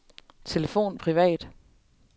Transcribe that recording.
telefon privat